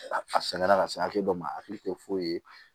A sɛgɛn la ka se hakɛ dɔ ma a hakili tɛ foyi ye